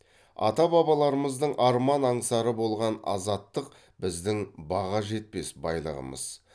ата бабаларымыздың арман аңсары болған азаттық біздің баға жетпес байлығымыз